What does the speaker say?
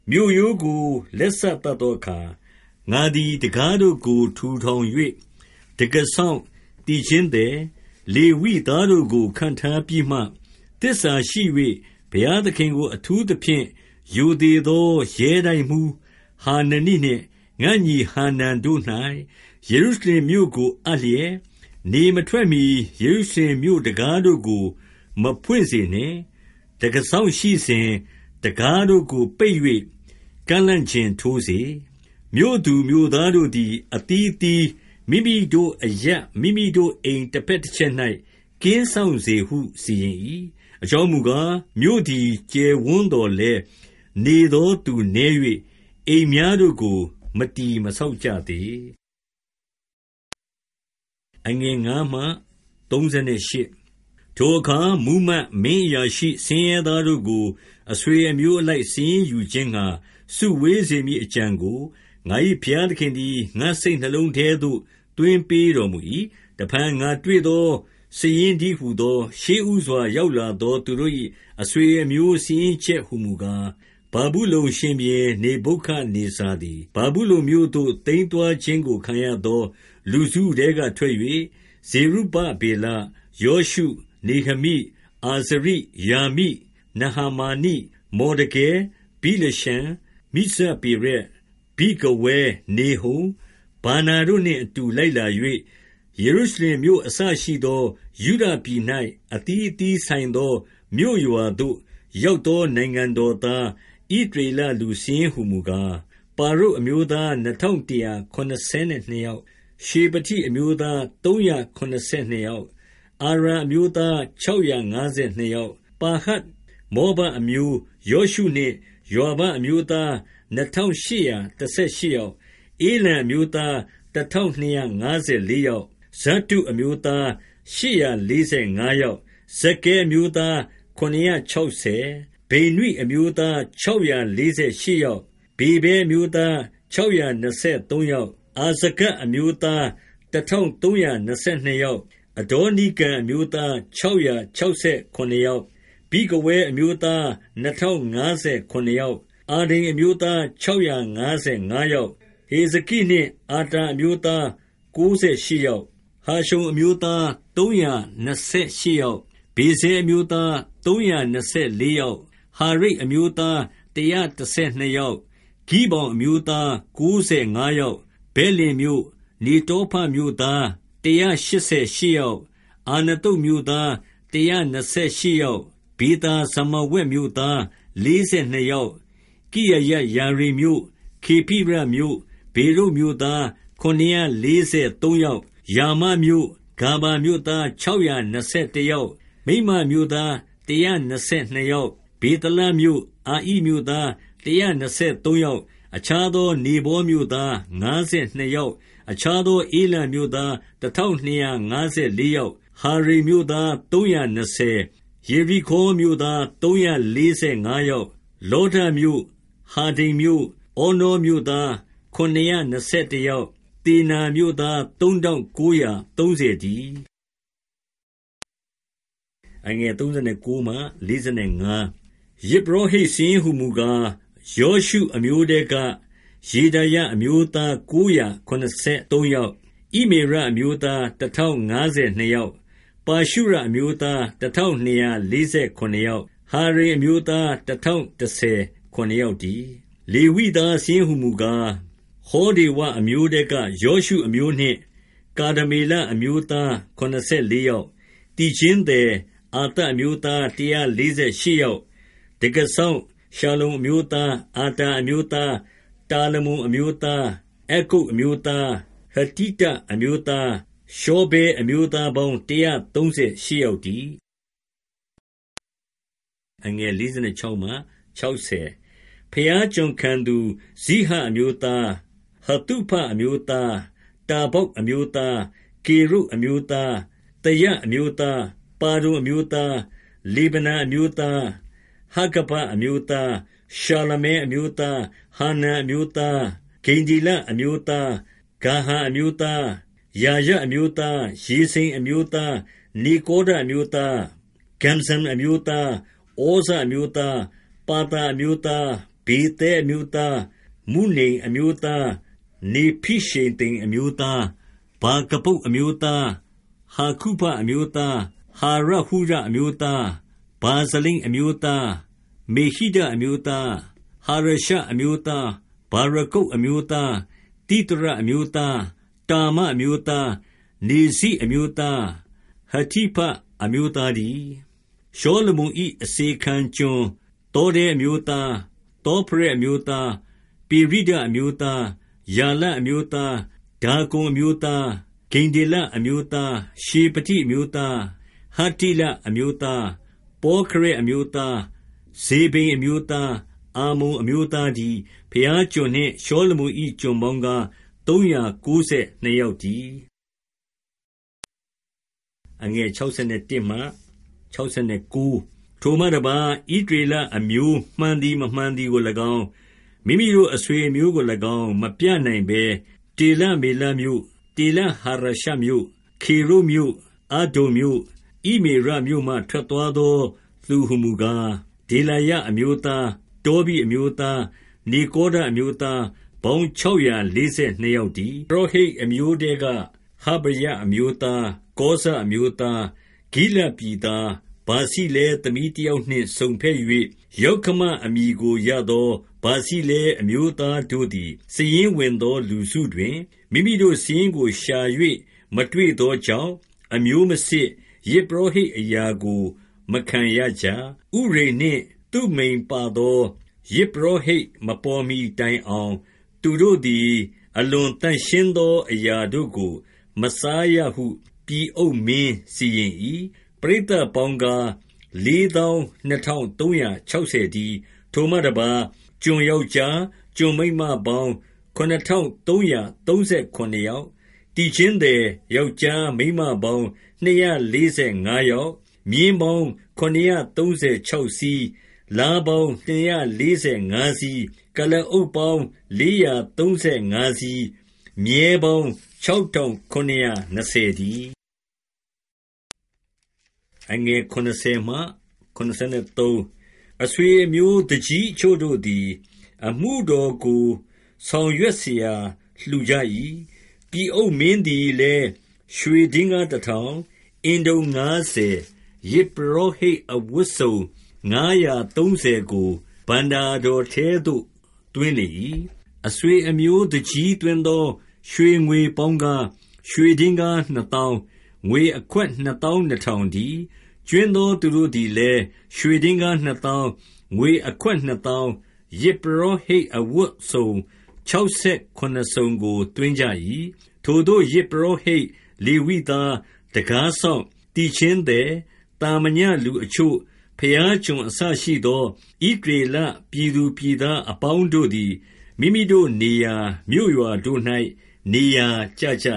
မြို့ရိုးကို လက်စသတ်သောအခါ၊ ငါသည် တံခါးတို့ကို ထူထောင်၍ တံခါးစောင့်၊ သီချင်းသည်၊ လေဝိသားတို့ကို ခန့်ထားပြီးမှ၊ 2သစ္စာရှိ၍ ဘုရားသခင်ကို အထူးသဖြင့် ရိုသေသော ရဲတိုက်မှူးဟာနနိနှင့် ငါ့ညီဟာနန်တို့၌ ယေရုရှလင်မြို့ကို အပ်လျက်၊ 3နေမထွက်မီ ယေရုရှလင်မြို့တံခါးတို့ကို မဖွင့်စေနှင့်။ တံခါးစောင့်ရှိစဉ်၊ တံခါးတို့ကိုပိတ်၍ ကန့်လန့်ကျင်ထိုးစေ။ မြို့သူမြို့သားတို့သည် အသီးအသီး မိမိတို့အရပ် မိမိတို့အိမ်တစ်ဖက်တစ်ချက်၌ ကင်းစောင့်စေဟု စီရင်၏။ 4အကြောင်းမူကား၊ မြို့သည် ကျယ်ဝန်းသော်လည်း နေသောသူနည်း၍ အိမ်များတို့ကို မတည်မဆောက်ကြသေး။ 5ထိုအခါမှူးမတ်၊ မင်းအရာရှိ၊ ဆင်းရဲသားတို့ကို အဆွေအမျိုးအလိုက် စာရင်းယူခြင်းငှာ စုဝေးစေမည်အကြံကို ငါ၏ဘုရားသခင်သည် ငါ့စိတ်နှလုံးထဲသို့ သွင်းပေးတော်မူ၏။ 6-7တစ်ဖန် ငါတွေ့သောစာရင်းတည်းဟူသော၊ ရှေ့ဦးစွာ ရောက်လာသောသူတို့၏ အဆွေအမျိုးစာရင်းချက် ဟူမူကား၊ ဗာဗုလုန်ရှင်ဘုရင် နေဗုခဒ်နေဇာသည် ဗာဗုလုန်မြို့သို့ သိမ်းသွားခြင်းကိုခံရသော လူစုထဲကထွက်၍ ဇေရုဗဗေလ၊ ယောရှု၊ နေဟမိ၊ အာဇရိ၊ ရာမိ၊ နာဟမာနိ၊ မော်ဒကဲ၊ ဗိလရှန်၊ မိဇပေရက်၊ ဗိဂဝဲ၊ နေဟုံ၊ ဗာနာတို့နှင့်အတူ လိုက်လာ၍ ယေရုရှလင်မြို့အစရှိသော ယုဒပြည်၌ အသီးအသီးဆိုင်သော မြို့ရွာသို့ရောက်သော နိုင်ငံတော်သား၊ ဣသရေလလူစာရင်းဟူမူကား၊ 8ပါရုတ်အမျိုးသား နှစ်ထောင်တစ်ရာ ခုနစ်ဆယ်နှစ်ယောက်၊ 9ရှေဖတိအမျိုးသား သုံးရာခုနစ်ဆယ်နှစ်ယောက်၊ 10အာရာအမျိုးသား ခြောက်ရာငါးဆယ်နှစ်ယောက်၊ 11ပါဟတ်မောဘအမျိုး၊ ယောရှုနှင့်ယွာဘအမျိုးသား နှစ်ထောင်ရှစ်ရာ တစ်ဆယ်ရှစ်ယောက်၊ 12ဧလံအမျိုးသား တစ်ထောင်နှစ်ရာ ငါးဆယ်လေးယောက်၊ 13ဇတ္တုအမျိုးသား ရှစ်ရာလေးဆယ်ငါးယောက်၊ 14ဇက္ခဲအမျိုးသား ခုနစ်ရာခြောက်ဆယ်၊ 15ဗိနွိအမျိုးသား ခြောက်ရာလေးဆယ်ရှစ်ယောက်၊ 16ဗေဗဲအမျိုးသား ခြောက်ရာနှစ်ဆယ်ရှစ်ယောက်၊ 17အာဇဂဒ်အမျိုးသား နှစ်ထောင်သုံးရာ နှစ်ဆယ်နှစ်ယောက်၊ 18အဒေါနိကံအမျိုးသား ခြောက်ရာခြောက်ဆယ် ခုနစ်ယောက်၊ 19ဗိဂဝဲအမျိုးသား နှစ်ထောင်ခြောက်ဆယ်ခုနစ်ယောက်၊ 20အာဒိန်အမျိုးသား ခြောက်ရာငါးဆယ်ငါးယောက်၊ 21ဟေဇကိနှင့်အာတာအမျိုးသား ကိုးဆယ်ရှစ်ယောက်၊ 22ဟာရှုံအမျိုးသား သုံးရာနှစ်ဆယ်ရှစ်ယောက်၊ 23ဗေဇဲအမျိုးသား သုံးရာနှစ်ဆယ်လေးယောက်၊ 24ဟာရိပ်အမျိုးသား တစ်ရာတစ်ဆယ်နှစ်ယောက်၊ 25ဂိဗောင်အမျိုးသား ကိုးဆယ်ငါးယောက်၊ 26ဗက်လင်မြို့၊ နေတောဖမြို့သား တစ်ရာရှစ်ဆယ်ရှစ်ယောက်၊ 27အာနသုတ်မြို့သား တစ်ရာနှစ်ဆယ်ရှစ်ယောက်၊ 28ဗေသာဇမာဝက်မြို့သား လေးဆယ်နှစ်ယောက်၊ 29ကိရယတ်ယာရိမ်မြို့၊ ခေဖိရမြို့၊ ဗေရုတ်မြို့သား ခုနစ်ရာလေးဆယ်သုံးယောက်၊ 30ရာမမြို့၊ ဂါဗမြို့သား ခြောက်ရာနှစ်ဆယ်တစ်ယောက်၊ 31မိတ်မတ်မြို့သား တစ်ရာနှစ်ဆယ်နှစ်ယောက်၊ 32ဗေသလမြို့၊ အာဣမြို့သား တစ်ရာနှစ်ဆယ်သုံးယောက်၊ 33အခြားသော နေဗောမြို့သား ငါးဆယ်နှစ်ယောက်၊ 34အခြားသော ဧလံမြို့သား တစ်ထောင်နှစ်ရာ ငါးဆယ်လေးယောက်၊ 35ဟာရိမ်မြို့သား သုံးရာနှစ်ဆယ်၊ 36ယေရိခေါမြို့သား သုံးရာလေးဆယ်ငါးယောက်၊ 37လောဒမြို့၊ ဟာဒိဒ်မြို့၊ ဩနောမြို့သား ခုနစ်ရာနှစ်ဆယ်တစ်ယောက်၊ 38သေနာမြို့သား သုံးထောင်ကိုးရာသုံးဆယ်တည်း။ 39ယဇ်ပုရောဟိတ်စာရင်းဟူမူကား၊ ယောရှုအမျိုးထဲက ယေဒါယအမျိုးသား ကိုးရာခုနစ်ဆယ်သုံးယောက်၊ 40ဣမေရအမျိုးသား တစ်ထောင်ငါးဆယ်နှစ်ယောက်၊ 41ပါရှုရအမျိုးသား တစ်ထောင်နှစ်ရာ လေးဆယ်ခုနစ်ယောက်၊ 42ဟာရိမ်အမျိုးသား တစ်ထောင်တစ်ဆယ် ခုနစ်ယောက်တည်း။ 43လေဝိသားစာရင်း ဟူမူကား၊ ဟောဒေဝအမျိုးထဲက ယောရှုအမျိုးနှင့် ကာဒမေလအမျိုးသား ခုနစ်ဆယ်လေးယောက်၊ 44သီချင်းသည်၊ အာသပ်အမျိုးသား တစ်ရာလေးဆယ်ရှစ်ယောက်၊ 45တံခါးစောင့် ရှလ္လုံအမျိုးသား၊ အာတာအမျိုးသား၊ တာလမုန်အမျိုးသား၊ အက္ကုပ်အမျိုးသား၊ ဟတိတအမျိုးသား၊ ရှောဗဲအမျိုးသားပေါင်း တစ်ရာသုံးဆယ်ရှစ်ယောက်တည်း။ 46ဘုရားကျွန်ခံသူ၊ ဇိဟအမျိုးသား၊ ဟသုဖအမျိုးသား၊ တဗ္ဗောက်အမျိုးသား၊ 47ကေရုတ်အမျိုးသား၊ သယအမျိုးသား၊ ပါဒုန် အမျိုးသား၊ 48လေဗနအမျိုးသား၊ ဟာဂဗအမျိုးသား၊ ရှာလမဲ အမျိုးသား၊ 49ဟာနန်အမျိုးသား၊ ဂိဒ္ဒေလအမျိုးသား၊ ဂါဟာအမျိုးသား၊ 50ရာယအမျိုးသား၊ ရေဇိန်အမျိုးသား၊ နေကောဒအမျိုးသား၊ 51ဂဇ္ဇမ်အမျိုးသား၊ ဩဇအမျိုးသား၊ ပါသာအမျိုးသား၊ 52ဗေသဲအမျိုးသား၊ မုနိမ်အမျိုးသား၊ နေဖိရှေသိမ်အမျိုးသား၊ 53ဗာကဗုတ်အမျိုးသား၊ ဟာကုဖအမျိုးသား၊ ဟာရဟုရအမျိုးသား၊ 54ဗာဇလိတ်အမျိုးသား၊ မေဟိဒအမျိုးသား၊ ဟာရရှအမျိုးသား၊ 55ဗာရကုတ်အမျိုးသား၊ သိသရအမျိုးသား၊ တာမအမျိုးသား၊ 56နေဇိအမျိုးသား၊ ဟတိဖအမျိုးသားတည်း။ 57ရှောလမုန်၏ အစေခံကျွန်၊ သောတဲအမျိုးသား၊ သောဖရက်အမျိုးသား၊ ပေရိဒအမျိုးသား၊ 58ယာလအမျိုးသား၊ ဒါကုန်အမျိုးသား၊ ဂိဒ္ဒေလအမျိုးသား၊ 59ရှေဖတိအမျိုးသား၊ ဟတ္တိလအမျိုးသား၊ ပေါခရက်အမျိုးသား၊ ဇေဗိမ်အမျိုးသား၊ အာမုန်အမျိုးသားတည်း။ 60ဘုရားကျွန်နှင့် ရှောလမုန်၏ ကျွန်ပေါင်းကား၊ သုံးရာကိုးဆယ်နှစ်ယောက်တည်း။ 61ထိုမှတစ်ပါး၊ ဣသရေလအမျိုး မှန်သည်၊ မမှန်သည်ကိုလည်းကောင်း၊ မိမိတို့အဆွေအမျိုးကိုလည်းကောင်း မပြနိုင်ဘဲ တေလမေလမြို့၊ တေလဟာရရှမြို့၊ ခေရုပ်မြို့၊ အဒ္ဒုန်မြို့၊ ဣမေရမြို့မှ ထွက်သွားသောသူ ဟူမူကား၊ 62ဒေလာယအမျိုးသား၊ တောဘိအမျိုးသား၊ နေကောဒအမျိုးသားပေါင်းခြောက်ရာ လေးဆယ်နှစ်ယောက်တည်း။ 63ယဇ်ပုရောဟိတ်အမျိုးထဲက ဟဗာယအမျိုးသား၊ ကောဇအမျိုးသား၊ ဂိလဒ်ပြည်သား၊ ဗာဇိလဲသမီးတစ်ယောက်နှင့် စုံဖက်၍ ယောက္ခမအမည်ကိုရသော ဗာဇိလဲအမျိုးသားတို့သည်၊ 64စာရင်းဝင်သောလူစုတွင် မိမိတို့စာရင်းကိုရှာ၍ မတွေ့သောကြောင့်၊ အမျိုးမစစ်၊ ယဇ်ပုရောဟိတ်အရာကို မခံရကြ။ 65ဥရိမ်နှင့်သုမိမ်ပါသော ယဇ်ပုရောဟိတ် မပေါ်မီတိုင်အောင် သူတို့သည် အလွန်သန့်ရှင်းသောအရာတို့ကို မစားရဟု ပြည်အုပ်မင်းစီရင်၏။ 66ပရိသတ်ပေါင်းကား၊ လေးသောင်းနှစ်ထောင် သုံးရာခြောက်ဆယ်တည်း။ 67ထိုမှတစ်ပါး၊ ကျွန်ယောက်ျား၊ ကျွန်မိန်းမပေါင်း ခုနစ်ထောင်သုံးရာ သုံးဆယ်ခုနစ်ယောက်၊ သီချင်းသည် ယောက်ျားမိန်းမပေါင်း နှစ်ရာလေးဆယ်ငါးယောက်၊ 68မြင်းပေါင်း ခုနစ်ရာသုံးဆယ်ခြောက်စီး၊ လားပေါင်း နှစ်ရာလေးဆယ်ငါးစီး၊ 69ကုလားအုတ်ပေါင်း လေးရာသုံးဆယ်ငါးစီး၊ မြည်းပေါင်း ခြောက်ထောင်ခုနစ်ရာ နှစ်ဆယ်တည်း။ 70အဆွေအမျိုး သူကြီးအချို့တို့သည် အမှုတော်ကိုဆောင်ရွက်စရာ လှူကြ၏။ ပြည်အုပ်မင်းသည်လည်း ရွှေဒင်္ဂါးတစ်ထောင်၊ အင်တုံငါးဆယ်၊ ယဇ်ပုရောဟိတ်အဝတ်စုံ ငါးရာသုံးဆယ်ကို ဘဏ္ဍာတော်ထဲသို့ သွင်းလေ၏။ 71အဆွေအမျိုး သူကြီးသွင်းသော ရွှေငွေပေါင်းကား၊ ရွှေဒင်္ဂါးနှစ်သောင်း၊ ငွေအခွက် နှစ်သောင်းနှစ်ထောင်တည်း။ 72ကြွင်းသောသူတို့သည်လည်း ရွှေဒင်္ဂါးနှစ်သောင်း၊ ငွေအခွက်နှစ်သောင်း၊ ယဇ်ပုရောဟိတ် အဝတ်စုံ ခြောက်ဆယ်ခုနစ်စုံကို သွင်းကြ၏။ 73ထိုသို့ ယဇ်ပုရောဟိတ်၊ လေဝိသား၊ တံခါးစောင့်၊ သီချင်းသည်၊ သာမညလူအချို့၊ ဘုရားကျွန်အစရှိသော ဣသရေလ ပြည်သူပြည်သားအပေါင်းတို့သည်၊ မိမိတို့နေရာ မြို့ရွာတို့၌ နေရာကျကြ